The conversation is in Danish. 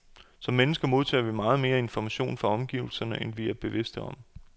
Som mennesker modtager vi meget mere information fra omgivelserne, end vi er bevidste om.